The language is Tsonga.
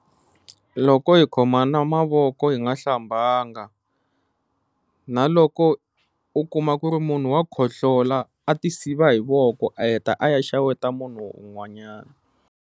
Loko hi khomana mavoko hi nga hlambanga, na loko u kuma ku ri munhu wa khohlola a ti siva hi voko a heta a ya xeweta munhu un'wanyana.